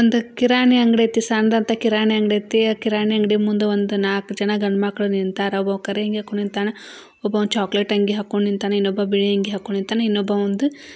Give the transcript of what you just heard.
ಒಂದು ಕಿರಾಣಿ ಅಂಗಡಿ ಐತಿ ಸಣ್ಣುದು ಕಿರಾಣಿ ಅಂಗಡಿ ಐತಿ ಆ ಕಿರಾಣಿ ಅಂಗಡಿ ಮುಂದೆ ಒಂದು ನಾಕ್ ಜನ ಗಂಡು ಮಕ್ಳು ನಿಂತಾರ. ಒಬ್ಬ ಕರೆ ಅಂಗಿ ಹಾಕೊಂಡು ನಿಂತ್ತಾನ .ಒಬ್ಬ ಚಾಕಲೇಟ್ ಅಂಗಿ ಹಾಕೊಂಡು ನಿಂತ್ತಾನ .ಇನ್ನೊಬ್ಬ ಬಿಳಿ ಅಂಗಿ ನಿಂತ್ತಾನ ಇನ್ನೊಬ್ಬ ಒಂದ--